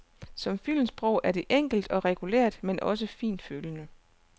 Som filmsprog er det enkelt og regulært, men også fintfølende.